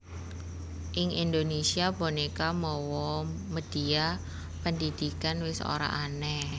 Ing Indonesia boneka mawa medhia pendhidhikan wis ora aneh